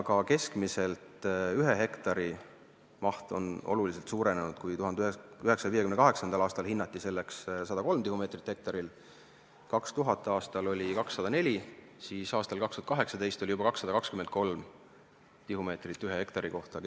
Ka ühe hektari keskmine maht on oluliselt suurenenud: 1958. aastal oli keskmine tagavara hinnanguliselt 103 tihumeetrit hektari kohta, 2000. aastal 204 tihumeetrit hektari kohta ning 2018. aastal juba 223 tihumeetrit ühe hektari kohta.